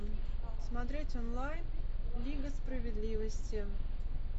смотреть онлайн лига справедливости